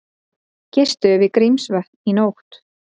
Gistu við Grímsvötn í nótt